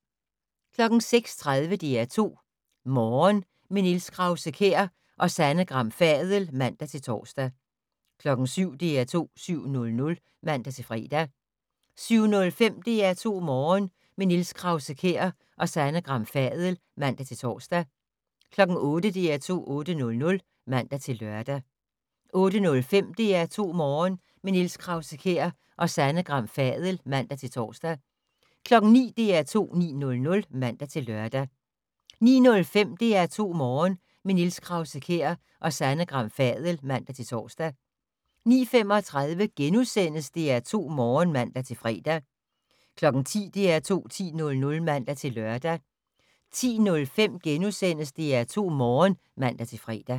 06:30: DR2 Morgen - med Niels Krause-Kjær og Sanne Gram Fadel (man-tor) 07:00: DR2 7:00 (man-fre) 07:05: DR2 Morgen - med Niels Krause-Kjær og Sanne Gram Fadel (man-tor) 08:00: DR2 8:00 (man-lør) 08:05: DR2 Morgen - med Niels Krause-Kjær og Sanne Gram Fadel (man-tor) 09:00: DR2 9:00 (man-lør) 09:05: DR2 Morgen - med Niels Krause-Kjær og Sanne Gram Fadel (man-tor) 09:35: DR2 Morgen *(man-fre) 10:00: DR2 10:00 (man-lør) 10:05: DR2 Morgen *(man-fre)